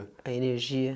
A energia.